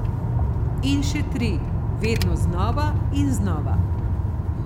In še tri, vedno znova in znova.